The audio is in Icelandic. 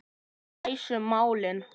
Við leysum málin.